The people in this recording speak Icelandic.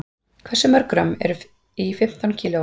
Hversu mörg grömm eru í fimmtán kílóum?